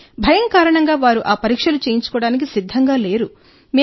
కానీ భయం కారణంగా వారు ఆ పరీక్షలు చేయించుకోవడానికి సిద్ధంగా లేరు